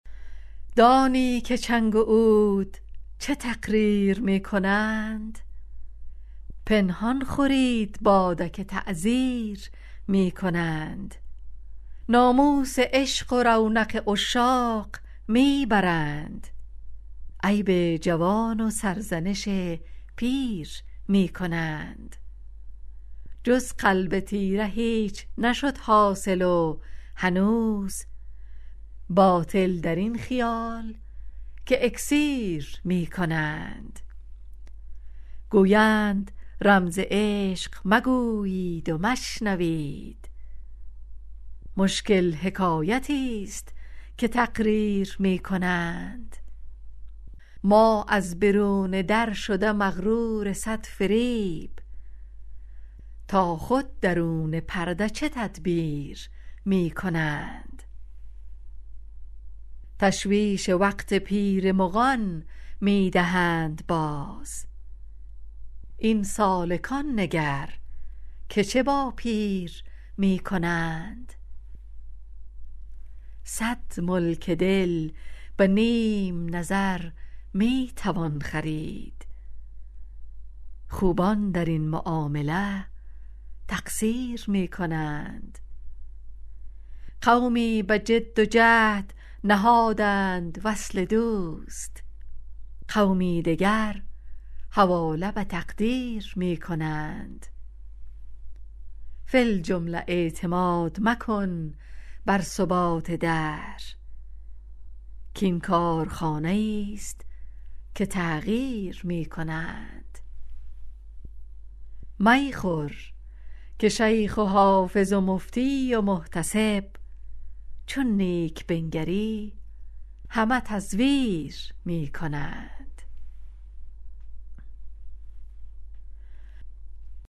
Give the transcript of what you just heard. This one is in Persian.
دانی که چنگ و عود چه تقریر می کنند پنهان خورید باده که تعزیر می کنند ناموس عشق و رونق عشاق می برند عیب جوان و سرزنش پیر می کنند جز قلب تیره هیچ نشد حاصل و هنوز باطل در این خیال که اکسیر می کنند گویند رمز عشق مگویید و مشنوید مشکل حکایتیست که تقریر می کنند ما از برون در شده مغرور صد فریب تا خود درون پرده چه تدبیر می کنند تشویش وقت پیر مغان می دهند باز این سالکان نگر که چه با پیر می کنند صد ملک دل به نیم نظر می توان خرید خوبان در این معامله تقصیر می کنند قومی به جد و جهد نهادند وصل دوست قومی دگر حواله به تقدیر می کنند فی الجمله اعتماد مکن بر ثبات دهر کـ این کارخانه ایست که تغییر می کنند می خور که شیخ و حافظ و مفتی و محتسب چون نیک بنگری همه تزویر می کنند